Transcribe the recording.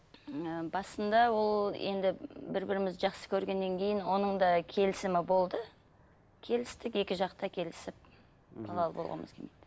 ы басында ол енді бір бірімізді жақсы көргеннен кейін оның да келісімі болды келістік екі жақ та келісіп балалы болғымыз келмейді